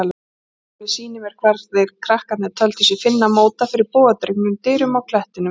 Jóhannes sýnir mér hvar þeir krakkarnir töldu sig finna móta fyrir bogadregnum dyrum á klettinum.